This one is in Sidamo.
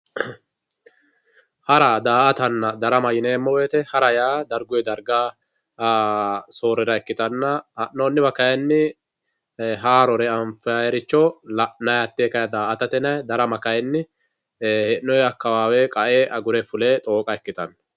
Hara, daa'attanna darama yineemo woyite hara yaa dariguyi dariga soorirra ikkitanna, hanoniwa kayinni haarore anfayirico la'nayi hatte daa'atate yinayi darama kayiini heenoyi akawawe agure fule xooqqa ikkitanno